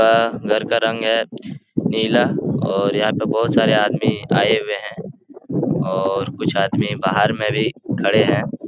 अ घर का रंग है नीला और यहां पे बहुत सारे आदमी आए हुए है और कुछ आदमी बाहर मे भी खड़े है।